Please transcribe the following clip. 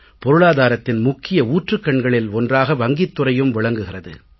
பொருளாதாரத்தின் முக்கிய ஊற்றுக்கண்களில் ஒன்றாக வங்கித் துறையும் விளங்குகிறது